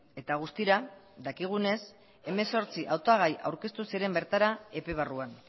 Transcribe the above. eta guztira dakigunez hemezortzi hautagai aurkeztu ziren bertara epe barruan